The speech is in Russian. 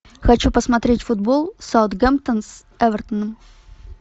хочу посмотреть футбол саутгемптон с эвертоном